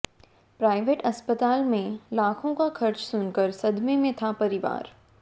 private अस्पताल में लाखों का खर्च सुनकर सदमे में था परिवार